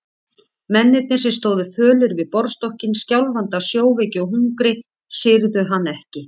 Mennirnir sem stóðu fölir við borðstokkinn, skjálfandi af sjóveiki og hungri, syrgðu hann ekki.